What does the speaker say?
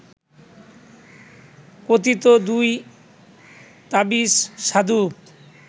কথিত দুই তাবিজ সাধুর